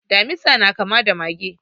Damisa na kama da mage.